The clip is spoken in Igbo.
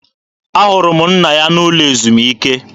Ahụrụ m nna ya n'ụlọ ezumike.